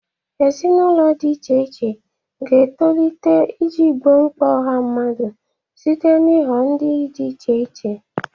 Ezinụlọ di iche iche ga-etolite iji gboo mkpa ọha mmadụ site n'ịghọ ndị dị iche iche.